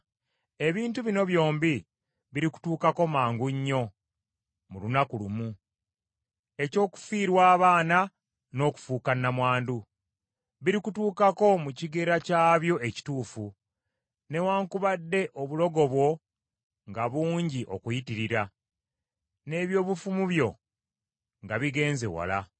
Ebintu bino byombi birikutuukako mangu nnyo mu lunaku lumu, eky’okufiirwa abaana n’okufuuka nnamwandu. Birikutuukako mu kigera kyabyo ekituufu, newaakubadde obulogo bwo nga bungi okuyitirira, n’eby’obufumu byo nga bigenze wala.